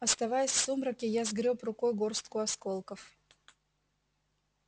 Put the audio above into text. оставаясь в сумраке я сгрёб рукой горстку осколков